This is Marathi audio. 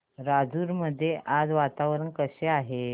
राजूर मध्ये आज वातावरण कसे आहे